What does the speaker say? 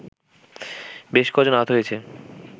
বেশ ক’জন আহত হয়েছে